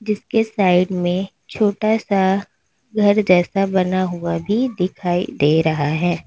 जिसके साइड में छोटा सा घर जैसा बना हुआ भी दिखाई दे रहा है।